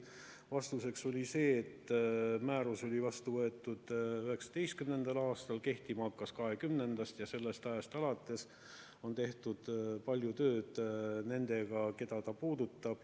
Vastuseks oli see, et määrus oli vastu võetud 2019. aastal, kehtima hakkas 2020-ndast ja sellest ajast alates on tehtud palju tööd nendega, keda see puudutab.